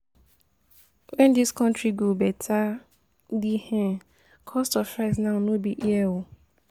When this country go better? the um cost of rice now no be here